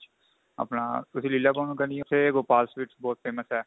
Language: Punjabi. ਆਪਣਾ ਤੁਸੀਂ ਲੀਲਾ ਭਵਨ ਕੰਨੀ ਉੱਥੇ Gopal sweets ਬਹੁਤ famous ਹੈ